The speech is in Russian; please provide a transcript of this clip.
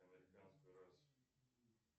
американскую расу